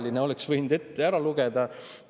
Selle oleks võinud enne ette lugeda.